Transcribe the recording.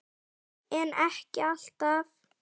en ekki alltaf